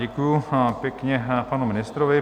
Děkuji pěkně panu ministrovi.